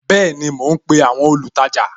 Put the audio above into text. Bẹẹni, mo ń pe àwọn olùtajà